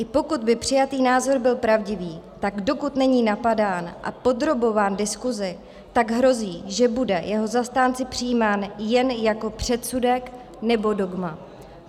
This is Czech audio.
I pokud by přijatý názor byl pravdivý, tak dokud není napadán a podrobován diskusi, tak hrozí, že bude jeho zastánci přijímán jen jako předsudek nebo dogma.